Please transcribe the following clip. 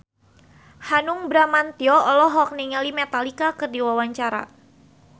Hanung Bramantyo olohok ningali Metallica keur diwawancara